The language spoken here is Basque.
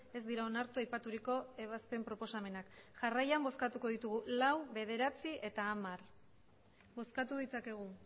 ez dira onartu aipaturiko ebazpen proposamenak jarraian bozkatuko ditugu lau bederatzi eta hamar bozkatu ditzakegu